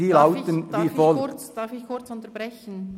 Darf ich kurz unterbrechen?